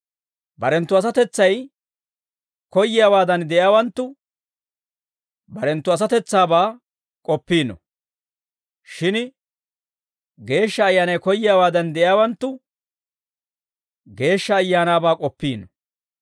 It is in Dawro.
Barenttu asatetsay koyyiyaawaadan de'iyaawanttu barenttu asatetsaabaa k'oppiino; shin Geeshsha Ayyaanay koyyiyaawaadan de'iyaawanttu Geeshsha Ayaanaabaa k'ooppiino.